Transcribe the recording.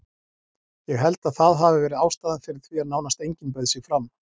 Ég held að það hafi verið ástæðan fyrir því að nánast enginn bauð sig fram.